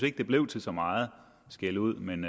ikke det blev til så meget skældud men